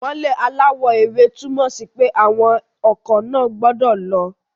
Ìmọ́lẹ̀ aláwọ̀ ewé túmọ̀ sí pé àwọn ọkọ̀ náà gbọ́dọ̀ lọ